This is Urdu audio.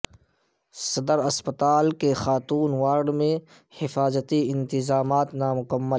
صدر اسپتال کے خاتون وارڈ میں حفاظتی انتظامات نا مکمل